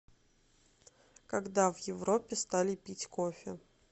когда в европе стали пить кофе